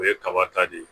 O ye kaba ta de ye